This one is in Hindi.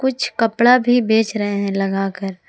कुछ कपड़ा भी बेच रहे हैं लगा कर।